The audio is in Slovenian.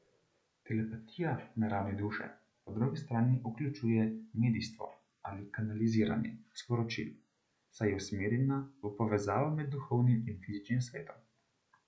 Telepatija na ravni duše po drugi strani vključuje medijstvo ali kanaliziranje sporočil, saj je usmerjena v povezavo med duhovnim in fizičnim svetom.